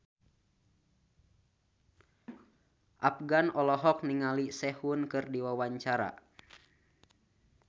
Afgan olohok ningali Sehun keur diwawancara